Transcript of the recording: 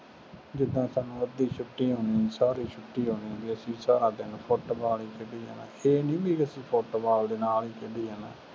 ਜਿਦਾਂ ਸਾਨੂੰ ਅੱਧੀ ਛੁੱਟੀ ਹੋਣੀ, ਸਾਰੀ ਛੁੱਟੀ ਹੋਣੀ, ਅਤੇ ਅਸੀਂ ਸਾਰਾ ਦਿਨ ਫੁੱਟਬਾਲ ਹੀ ਖੇਡੀ ਜਾਣਾ, ਇਹ ਨਹੀਂ ਬਈ ਅਸੀਂ ਫੁੱਟਬਾਲ ਦੇ ਨਾਲ ਖੇਡੀ ਜਾਣਾ।